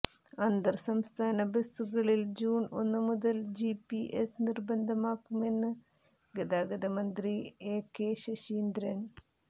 അന്തർ സംസ്ഥാന ബസുകളിൽ ജൂൺ ഒന്ന് മുതൽ ജിപിഎസ് നിർബന്ധമാക്കുമെന്ന് ഗതാഗത മന്ത്രി എ കെ ശശീന്ദ്രൻ